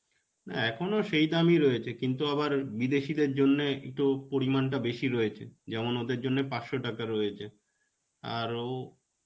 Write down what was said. না, এখনও সেই দামই রয়েছে. কিন্তু আবার বিদেশীদের জন্যে তো একটু পরিমানটা বেশী রয়েছে. যেমন ওদের জন্যে পাঁচশ টাকা রয়েছে. আরো